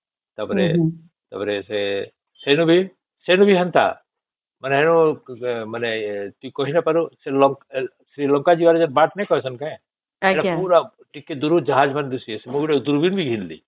ତା ପରେ ସେ ଵେନୁ ବି ହେନ୍ତା ମାନେ କି ନାହିଁ କହିପାରୁ ସେ ଶ୍ରୀଲଙ୍କା ଯିବାକୁ ଯେନ ବାଟ ନାଇଁ କେଣସେ ସେ ପୁରା ଟିକେ ଦୂର ସେ ଜାହାଜ ମାନେ ଦିସିଚେ ମୁ ଗୋଟେ ଦୂରବୀନ ବି ଘିନିଲି